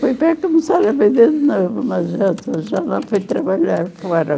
para começar a viver de novo, mas já fui trabalhar fora.